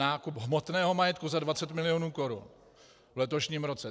Nákup hmotného majetku za 20 milionů korun v letošním roce.